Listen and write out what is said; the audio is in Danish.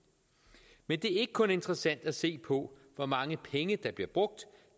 men det er ikke kun interessant at se på hvor mange penge der bliver brugt